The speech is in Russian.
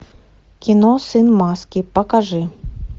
кино сын маски покажи